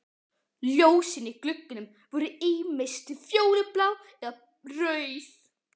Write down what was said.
Ljósin í gluggunum voru ýmist fjólublá eða rauð.